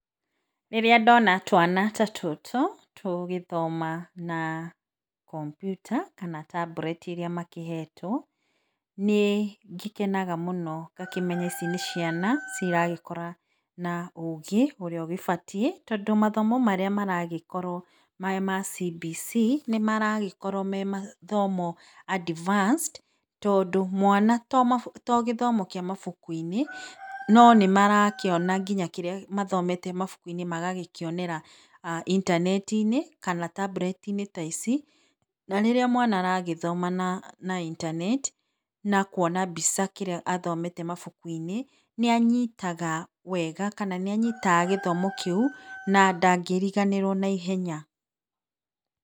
Rĩrĩa ndona twana ta tũtũ, tũgĩthoma na kompiuta kana na tablet ĩrĩa makĩhetwo nĩngĩkenaga mũno ngakĩmenya ici nĩciana ciragĩkũra na ũgĩ ũrĩa ũgĩbatiĩ tondũ, mathamo marĩa maragĩkoro mema cibici nĩ maragĩkorwo memathomo advanced tondũ mwana togĩthomo gĩa mabuku -ĩnĩ no nĩmarakĩona kĩrĩa mathomete mabuku inĩ magagĩkĩonera intanetinĩ kana tablet ta ici na rĩrĩa mwana aragĩthoma na na intaneti na kwona mbica kĩrĩa athomete mabuku -inĩ, nĩa nyitaga wega kana nĩanyitaga gĩthomo kĩu, na ndangĩriganĩrwo na ĩhenya.